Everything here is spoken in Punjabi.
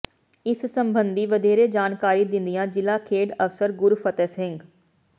ਇਸ ਸਬੰਧੀ ਵਧੇਰੇ ਜਾਣਕਾਰੀ ਦਿੰਦਿਆਂ ਜ਼ਿਲ੍ਹਾ ਖੇਡ ਅਫ਼ਸਰ ਗੁਰਫਤਿਹ ਸਿੰਘ